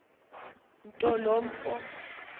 nto lo mfo